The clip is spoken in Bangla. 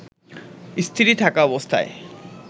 স্ত্রী থাকা অবস্থায়